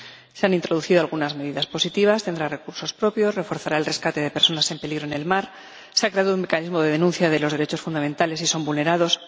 Se han introducido algunas medidas positivas tendrá recursos propios, reforzará el rescate de personas en peligro en el mar, se ha creado un mecanismo de denuncia de los derechos fundamentales si son vulnerados...